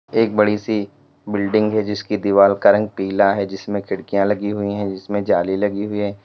एक बड़ी सी बिल्डिंग है जिसकी दीवाल का रंग पीला है जिसमें खिड़कियां लगी हुई हैं जिसमें जाली लगी हुई है।